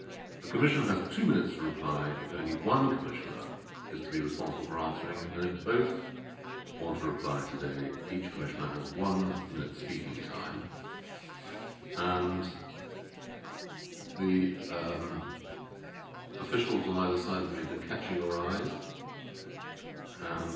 The Commission has two minutes to reply if only one Commissioner is to be responsible for answering, and if both want to reply today each Commissioner has one minute of speaking time. The officials on either side of me have been catching your eyes and